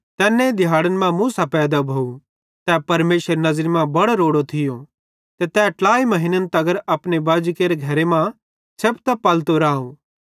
तैन्ने दिहैड़न मां मूसा पैदा भोव तै परमेशरेरी नज़री मां बड़ो रोड़ो थियो ते तै ट्लाई महीन्न तगर अपने बाजेरे घरे मां छेपतां पलतो राव